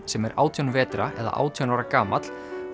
sem er átján vetra eða átján ára gamall